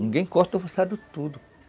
Ninguém corta a roçado tudo.